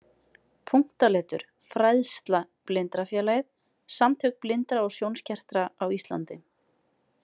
Punktaletur „Fræðsla“ Blindrafélagið- Samtök blindra og sjónskertra á Íslandi.